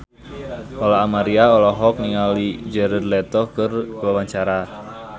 Lola Amaria olohok ningali Jared Leto keur diwawancara